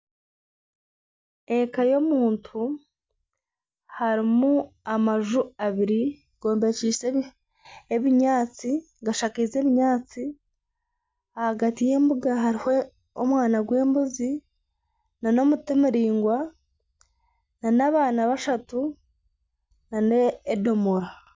Eka y'omuntu harimu amaju abiri gashaakinze ebinyaatsi ahagati y'embuga hariho omwana gw'embuzi n'emuti muraingwa n'abaana bashatu n'edomoora.